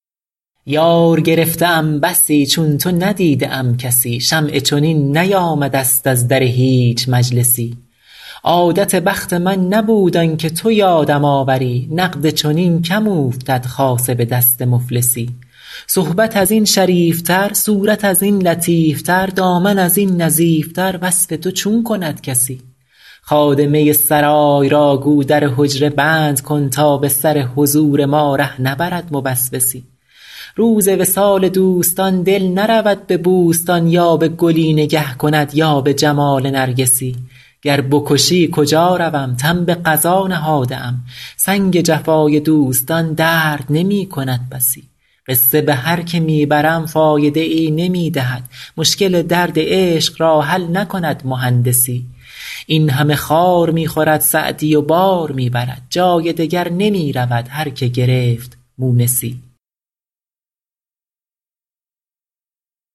یار گرفته ام بسی چون تو ندیده ام کسی شمعی چنین نیامده ست از در هیچ مجلسی عادت بخت من نبود آن که تو یادم آوری نقد چنین کم اوفتد خاصه به دست مفلسی صحبت از این شریف تر صورت از این لطیف تر دامن از این نظیف تر وصف تو چون کند کسی خادمه سرای را گو در حجره بند کن تا به سر حضور ما ره نبرد موسوسی روز وصال دوستان دل نرود به بوستان یا به گلی نگه کند یا به جمال نرگسی گر بکشی کجا روم تن به قضا نهاده ام سنگ جفای دوستان درد نمی کند بسی قصه به هر که می برم فایده ای نمی دهد مشکل درد عشق را حل نکند مهندسی این همه خار می خورد سعدی و بار می برد جای دگر نمی رود هر که گرفت مونسی